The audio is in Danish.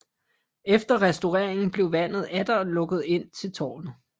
Efter restaureringen blev vandet atter lukket ind til tårnet